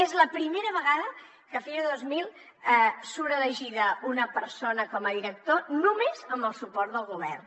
és la primera vegada que a fira dos mil surt elegida una persona com a director només amb el suport del govern